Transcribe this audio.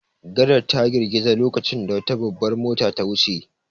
Gadar ta girgiza lokacin da wata babbar mota ta wuce.